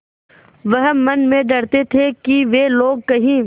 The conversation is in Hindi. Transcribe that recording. वह मन में डरते थे कि वे लोग कहीं